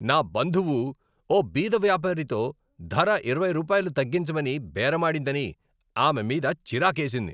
నా బంధువు ఓ బీద వ్యాపారితో ధర ఇరవై రూపాయలు తగ్గించమని బేరమాడిందని ఆమె మీద చిరాకేసింది.